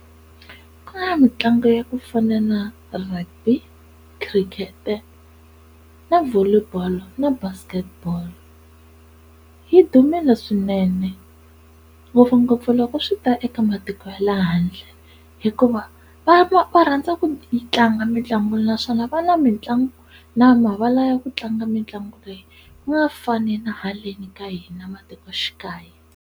Ka mitlangu ya ku fana na rugby, khirikete na volley ball na basketball yi dumile swinene ngopfungopfu loko swi ta eka matiko ya le handle hikuva va va va rhandza ku yi tlanga mitlangu naswona va na mitlangu na mavala ya ku tlanga mitlangu leyi ku nga fani na haleni ka hina matikoxikaya.